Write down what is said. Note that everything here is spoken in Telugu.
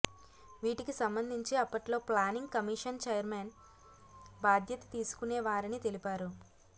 వీటికి సంబంధించి అప్పట్లో ప్లానింగ్ కమిషన్ ఛైర్మన్ బాధ్యత తీసుకునేవారని తెలిపారు